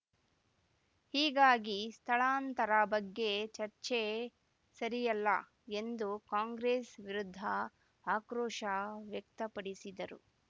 ಹೀಗಾಗಿ ಸ್ಥಳಾಂತರ ಬಗ್ಗೆ ಚರ್ಚೆ ಸರಿಯಲ್ಲ ಎಂದು ಕಾಂಗ್ರೆಸ್‌ ವಿರುದ್ಧ ಆಕ್ರೋಶ ವ್ಯಕ್ತಪಡಿಸಿದರು